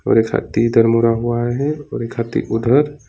और एक हाथी इधर मुड़ा हुआ है और एक हाथी उधर।